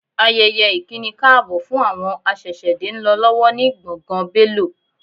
Ayẹyẹ ìkínikáàbọ̀ fún àwọn aṣẹ̀ṣẹ̀dé ń lọ lọ́wọ́ ni gbọ̀ngàn Bélò